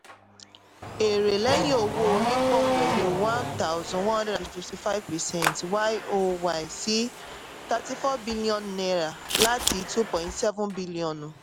èrè lẹ́yìn owó orí pọ̀ pẹ̀lú 1155 percent y-o-y sí 34 biliọnu náírà láti 2.7 biliọnu.